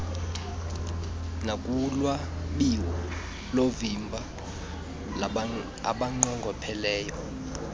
nakulwabiwo loovimba abanqongopheleyo